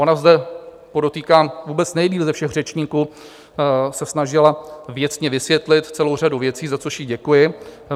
Ona zde, podotýkám, vůbec nejdéle ze všech řečníků se snažila věcně vysvětlit celou řadu věcí, za což jí děkuji.